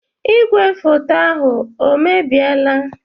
Ìgwè foto ahụ o mebiela?